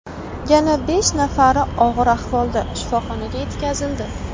Yana besh nafari og‘ir ahvolda shifoxonaga yetkazildi.